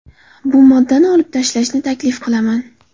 Bu moddani olib tashlashni taklif qilaman.